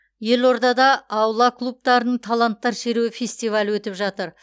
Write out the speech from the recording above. елордада аула клубтарының таланттар шеруі фестивалі өтіп жатыр